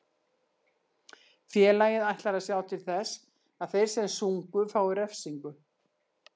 Félagið ætlar að sjá til þess að þeir sem sungu fái refsingu.